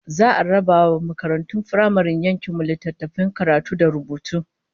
Za'a raba wa makaratun firamaren yankin mu littattafan karatu da rubutu